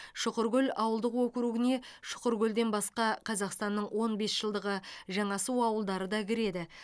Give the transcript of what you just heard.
шұқыркөл ауылдық округіне шұқыркөлден басқа қазақстанның он бес жылдығы жаңасу ауылдары да кіреді